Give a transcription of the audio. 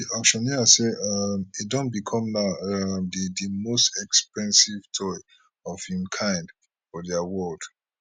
di auctioneer say um e don become now um di di most expensive toy of im kind for di world